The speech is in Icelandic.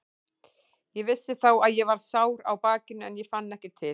Ég vissi þá að ég var sár á bakinu en ég fann ekki til.